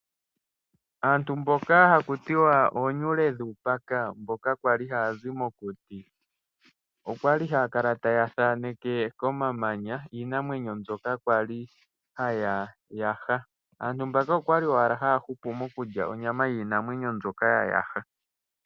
Aantu mboka haku tiwa oonyule dhuupaka mboka kwali haya zi mokuti okwali haya kala taya thaneke komamanya iinamwenyo mbyoka kwali ya yaha. Aantu mboka okwa li owala haya hupu mokulya onyama yiinamwenyo mbyoka ya yaha